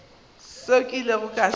seo ke ilego ka se